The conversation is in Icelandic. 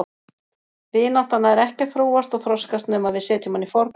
Vinátta nær ekki að þróast og þroskast nema við setjum hana í forgang.